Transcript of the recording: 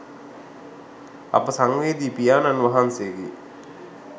අප සංවේදි පියාණන් වහන්සේගේ